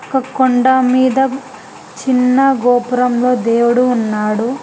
ఒక కొండా మీద చిన్న గోపురంలో దేవుడు ఉన్నాడు.